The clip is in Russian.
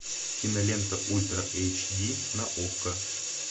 кинолента ультра эйч ди на окко